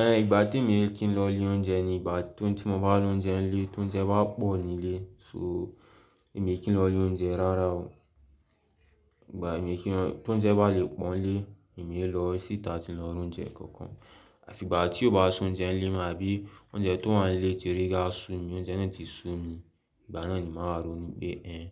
Ẹn, ìgbà tí èmi ẹ kín lọ ilé oúnjẹ ni ìgbà tí ọba oúnjẹ ń lé, tóúnjẹ bá pọ̀ nílé so èmi ẹ kín lọ ilé oúnjẹ rara o. Ìgbà èmi ẹ kín lọ-- tóúnjẹ bá le pọ̀n lé, èmi ẹ lọ síta tí n lọ ra oúnjẹ kankan. Àfi ìgbà tí ó bá sún oúnjẹ ń lé mi àbí oúnjẹ tó wà nílé ti rí gá sú mi, oúnjẹ náà ti sú mi, ìgbà náà ni màá rónú pé ẹn,